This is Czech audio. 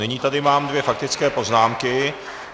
Nyní tady mám dvě faktické poznámky.